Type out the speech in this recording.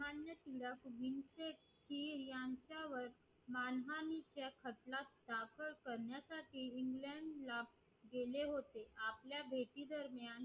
करण्यासाठी england ला गेले होते आपल्या भेटीदरम्यान